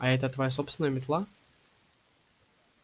а это твоя собственная метла